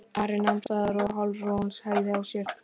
Ari nam staðar og halarófan hægði á sér.